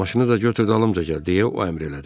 Maşını da götür dalımca gəl deyə o əmr elədi.